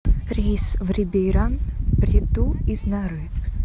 рейс в рибейран прету из нары